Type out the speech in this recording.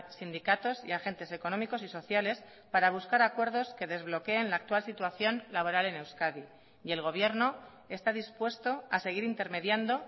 sindicatos y agentes económicos y sociales para buscar acuerdos que desbloqueen la actual situación laboral en euskadi y el gobierno está dispuesto a seguir intermediando